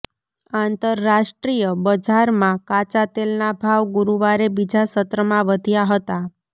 આંતરરાષ્ટ્રીય બજારમાં કાચા તેલના ભાવ ગુરુવારે બીજા સત્રમાં વધ્યા હતા